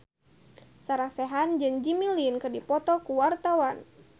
Sarah Sechan jeung Jimmy Lin keur dipoto ku wartawan